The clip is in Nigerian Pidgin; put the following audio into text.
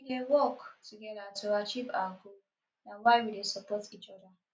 we dey work togeda to achieve our goal na why we dey support each oda